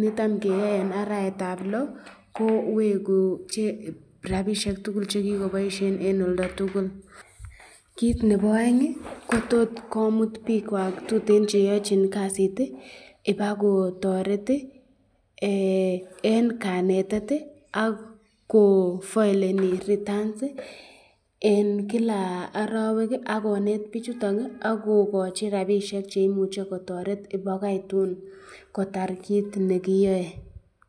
nitam keyoe eng arawetab loo kobche rapishek tukul chekikoboisyen eng oldo tukul, kit nebo aeng komut bikwak tuteno cheyochin kasit ibako toret eng kanetet ak ko faileni returns eng Kila arawek ak konet bik chuton akokochi rapishek cheimuche kotoret kotar kit nekiyae.